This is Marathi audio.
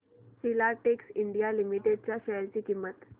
फिलाटेक्स इंडिया लिमिटेड च्या शेअर ची किंमत